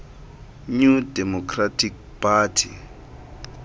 new democratic party